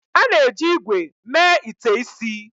A na-eji ígwè mee ite isi.